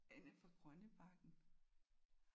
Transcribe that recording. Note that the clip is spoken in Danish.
Anne fra Grønnebakken